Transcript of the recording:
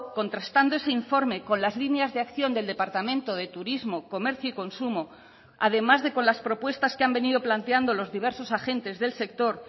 contrastando ese informe con las líneas de acción del departamento de turismo comercio y consumo además de con las propuestas que han venido planteando los diversos agentes del sector